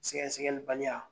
Sɛgɛsɛgɛlibaliya